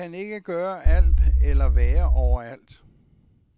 Vi kan ikke gøre alt eller være overalt.